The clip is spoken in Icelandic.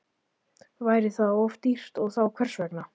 Væri það of dýrt og þá hvers vegna?